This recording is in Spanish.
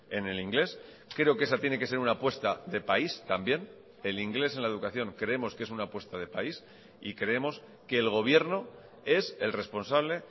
en el inglés creo que esa tiene que ser una apuesta de país también el inglés en la educación creemos que es una apuesta de país y creemos que el gobierno es el responsable